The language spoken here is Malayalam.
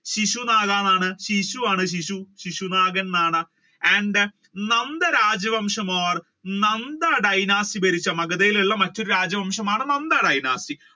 ശിശുനാഗൻ ശിശു ശിശു ആണ് ശിശുനാഗൻ എന്നാണ്. and then നന്ദ രാജ്യവംശം or നന്ദ dynasty ഭരിച്ച മഗധയിൽ ഉള്ള രാജ്യവംശമാണ് നന്ദ dynasty